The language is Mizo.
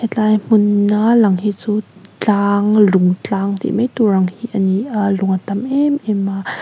tlai hmun a lang hi chu tlang lung tlang tih mai tur ang hi a ni a lung a tam em em a.